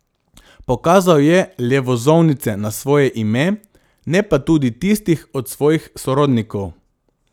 Pokazal je le vozovnice na svoje ime, ne pa tudi tistih od svojih sorodnikov.